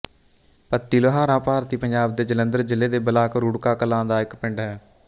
ਪੱਤੀ ਲੋਹਾਰਾਂ ਭਾਰਤੀ ਪੰਜਾਬ ਦੇ ਜਲੰਧਰ ਜ਼ਿਲ੍ਹੇ ਦੇ ਬਲਾਕ ਰੁੜਕਾ ਕਲਾਂ ਦਾ ਇੱਕ ਪਿੰਡ ਹੈ